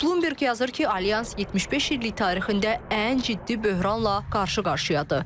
Bloomberg yazır ki, alyans 75 illik tarixində ən ciddi böhranla qarşı-qarşıyadır.